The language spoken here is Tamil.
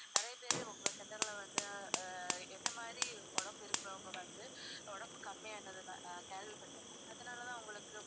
நிறைய பேரு உங்க center ல வந்து ஆஹ் என்னை மாதிரி உடம்பு இருக்குறவங்க வந்து உடம்ப கம்மியானது நான் நா~ கேள்விப்பட்டுருக்கேன். அதனால தான் உங்களுக்கு